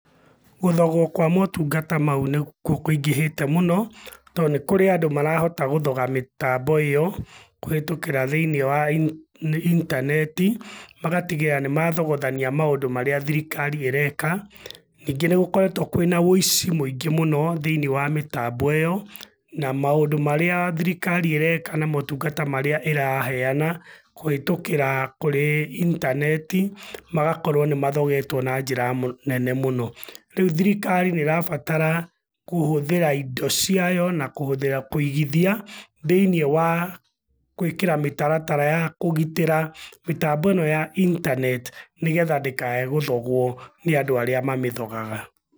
Gũthogũo kwa motungata mau nĩkuo kũingĩhĩte mũno, tondũ nĩ kũrĩ andũ marahota gũthoga mĩtambo ĩyo, kũhĩtũkĩra thĩiniĩ wa intaneti, magatigĩrĩra nĩmathogothania maũndũ marĩa thirikari ĩreka. Ningĩ nĩgũkoretũo kwĩna wĩici mũingĩ mũno thĩiniĩ wa mĩtambo ĩyo, na maũndũ marĩa thirikari ĩreka na motungata marĩa ĩraheana, kũhĩtũkĩra kũrĩ intaneti, magakorũo nĩmathogetũo na njira nene mũno. Rĩu thirikari nĩrabatara kũhũthĩra indo ciayo na kũhũthĩra kũigithia, thĩiniĩ wa gũĩkĩra mĩtaratara ya kũgitĩra mĩtambo ĩno ya internet nĩgetha ndĩkae gũthogwo nĩ andũ arĩa mamĩthogaga.